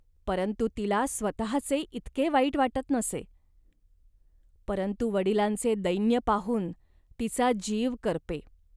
परंतु तिला स्वतःचे इतके वाईट वाटत नसे. परंतु वडिलांचे दैन्य पाहून तिचा जीव करपे